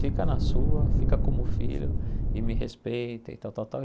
Fica na sua, fica como filho e me respeita e tal, tal, tal.